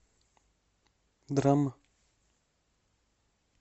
драма